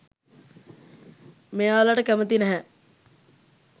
මෙයාලට කැමති නැහැ.